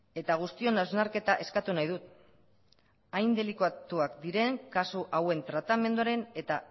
eta guztion hausnarketa eskatu nahi dut hain delikatuak diren kasu hauen tratamenduaren eta